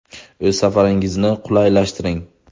O‘z safaringizni qulaylashtiring!